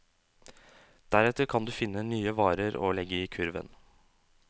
Deretter kan du finne nye varer å legge i kurven.